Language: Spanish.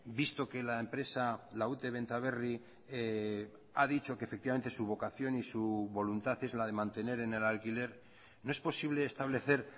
visto que la empresa la ute benta berri ha dicho que efectivamente su vocación y su voluntad es la de mantener en el alquiler no es posible establecer